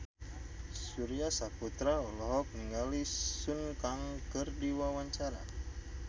Surya Saputra olohok ningali Sun Kang keur diwawancara